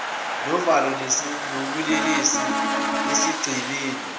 novalo lobulelesi esigcemeni